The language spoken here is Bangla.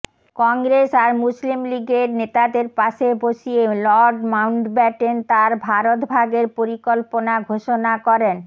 কংগ্রেস আর মুসলিম লীগের নেতাদের পাশে বসিয়ে লর্ড মাউন্টব্যাটেন তাঁর ভারত ভাগের পরিকল্পনা ঘোষণা করেন